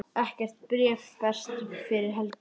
Ekkert bréf berst fyrir helgi.